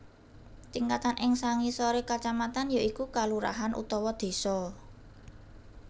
Tingkatan ing sangisoré kacamatan ya iku kalurahan utawa désa